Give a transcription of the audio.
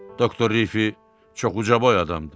Doktor Riffi çox ucaboy adam idi.